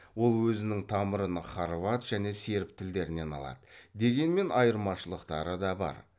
ол өзінің тамырын хорват және серб тілдерінен алады дегенмен айырмашылықтары да бар